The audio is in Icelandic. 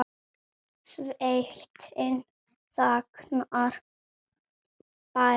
Sveitin þagnar, sverðin liggja ber.